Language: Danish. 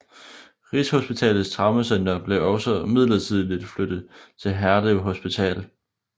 Rigshospitalets Traumecenter blev også midlertidigt flyttet til Herlev Hospital